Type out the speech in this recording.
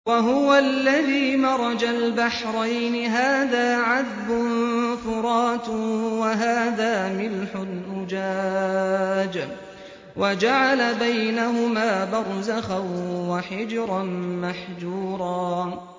۞ وَهُوَ الَّذِي مَرَجَ الْبَحْرَيْنِ هَٰذَا عَذْبٌ فُرَاتٌ وَهَٰذَا مِلْحٌ أُجَاجٌ وَجَعَلَ بَيْنَهُمَا بَرْزَخًا وَحِجْرًا مَّحْجُورًا